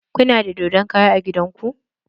Kuna da dodon kara a gidan ku?